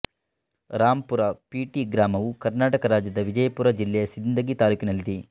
Rampur P T ಗ್ರಾಮವು ಕರ್ನಾಟಕ ರಾಜ್ಯದ ವಿಜಯಪುರ ಜಿಲ್ಲೆಯ ಸಿಂದಗಿ ತಾಲ್ಲೂಕಿನಲ್ಲಿದೆ